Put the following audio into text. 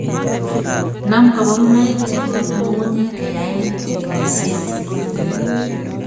Nam kaboorunoik che bo ng'ung'unyek kayaen chigilisiet